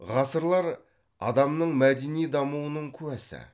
ғасырлар адамның мәдени дамуының куәсі